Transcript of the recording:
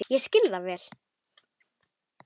Ég skil það vel.